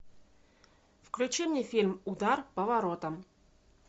включи мне фильм удар по воротам